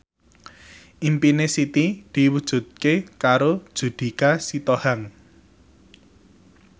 impine Siti diwujudke karo Judika Sitohang